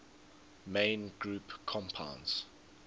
main group compounds